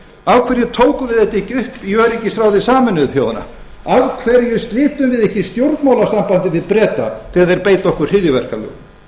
af hverju tókum við þetta ekki upp í öryggisráði sameinuðu þjóðanna af hverju slitum við ekki stjórnmálasambandi við breta þegar þeir beita okkur hryðjuverkalögum